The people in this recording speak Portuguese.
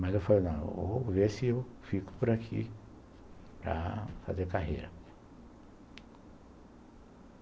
Mas eu falei, não, vou ver se eu fico por aqui para fazer carreira.